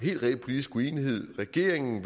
helt reel politisk uenighed at regeringen